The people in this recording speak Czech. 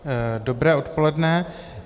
Dobré odpoledne.